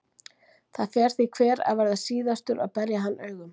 Það fer því hver að verða síðastur að berja hann augum.